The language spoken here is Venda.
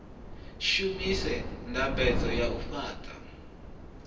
shumise ndambedzo ya u fhaṱa